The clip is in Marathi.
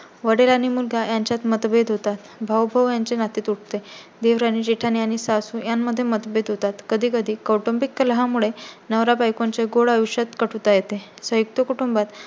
संयुक्त कुटुंबात वडील आणि मुलगा यांच्यात मतभेद होतात. भाऊ- भाऊ यांचे नाते तुटते. देवरांनी-जेठाणी आणि सासू यांमध्ये मतभेद होतात. कधी कधी कौटुंबिक कलहा मुळे नवरा बायकोचे गोड आयुष्यात कटुता येते.